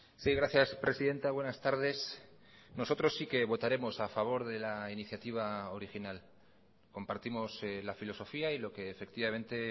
sí gracias presidenta buenas tardes nosotros sí que votaremos a favor de la iniciativa original compartimos la filosofía y lo que efectivamente